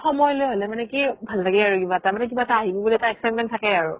সময় লৈ হ'লে মানে কি ভাল লাগে আৰু কিবা এটা তাৰমানে কিবা এটা আহিব বুলি excitement থাকে